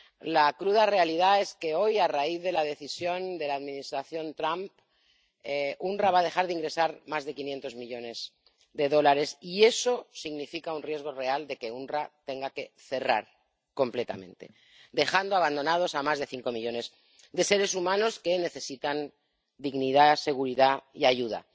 La cruda realidad es que hoy, a raíz de la decisión de la Administración Trump, el OOPS va a dejar de ingresar más de 500 millones de dólares, y eso significa un riesgo real de que el OOPS tenga que cerrar completamente, dejando abandonados a más de cinco millones de seres humanos que necesitan dignidad, seguridad y ayuda.